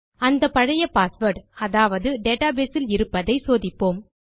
அந்த பழைய பாஸ்வேர்ட் அதாவது டேட்டாபேஸ் இல் இருப்பதை சோதிப்போம்